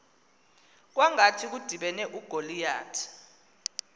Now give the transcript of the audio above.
kwangathi kudibene ugoliyathi